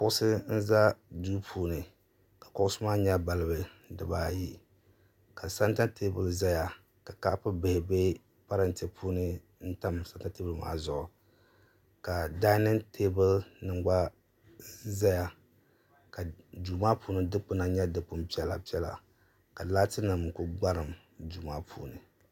kuɣusi n ʒɛ duu puubi ka kuɣusi maa nyɛ balibu dibaayi ka sɛnta teebuli ʒɛya ka kaapu bihi bɛ parantɛ puuni n tan sɛnta teebuli maa zuɣu ka dainin teebuli gba ʒɛya duu maa puuni dikpuna nyɛ dikpuni piɛla piɛla ka laati nim ku gbarim duu maa puuni